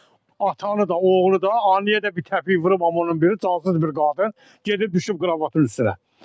Atanı da, oğlu da, anneyə də bir təpik vurub, amma onun biri cansız bir qadın gedib düşüb qravatın üstünə.